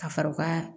Ka fara u ka